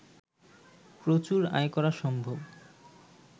প্রচুর আয় করা সম্ভব